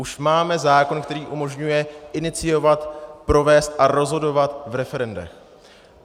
Už máme zákon, který umožňuje iniciovat, provést a rozhodovat v referendech.